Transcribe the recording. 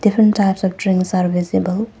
Diffrent types of drinks are visible.